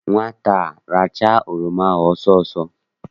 Nwata a rachaa oroma ahụ ọsọ ọsọ!